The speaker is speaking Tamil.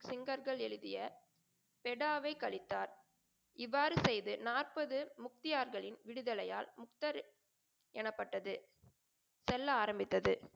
செங்கற்கள் எழுதிய பெடாவே கழித்தார். இவ்வாறு செய்து நாற்பது முக்தியார்களின் விடுதலையால் முக்தர் எனப்பட்டது செல்ல ஆரம்பித்தது.